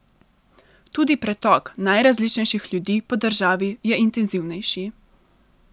Tudi pretok najrazličnejših ljudi po državi je intenzivnejši.